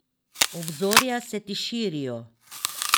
Obzorja se ti širijo.